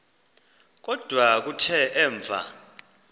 kodwa kuthe emva